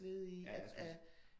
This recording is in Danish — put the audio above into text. Ja jeg skulle lige til